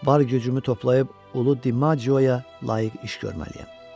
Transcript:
Var gücümü toplayıb ulu Dimagioya layiq iş görməliyəm.